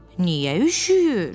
Niyə üşüyür?